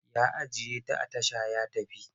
Ya ajiye ta a tasha ya tafi.